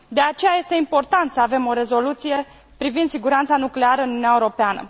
De aceea, este important să avem o rezoluție privind siguranța nucleară în Uniunea Europeană.